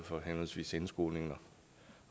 for henholdsvis indskolingen